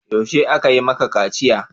Yaushe aka yi maka kaciya?